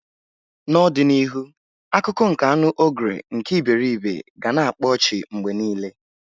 N'ọdịnihu akụkọ nke anu Ogre nke iberibe ga na akpa ọchị mgbe niile.